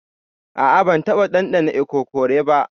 A'a ban taba dandana ikokore ba.